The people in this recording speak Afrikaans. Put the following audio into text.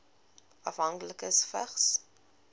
afhanklikes vigs